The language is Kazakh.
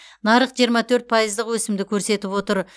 нарық жиырма төрт пайыздық өсімді көрсетіп отыр